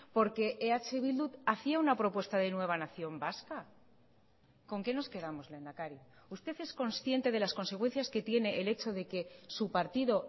porque eh bildu hacía una propuesta de nueva nación vasca con qué nos quedamos lehendakari usted es consciente de las consecuencias que tiene el hecho de que su partido